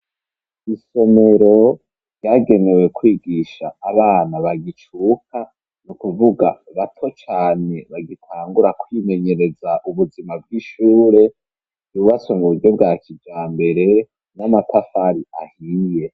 Isomero ryagenewe kwigisha abana bagicuka no kuvuga bato cane bagitangura kwimenyereza ubuzima bw'ishure ryubatswe mu buryo bwa kijambere n'amatafari ahiye.